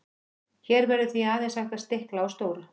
hér verður því aðeins hægt að stikla á stóru